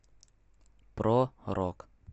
про рок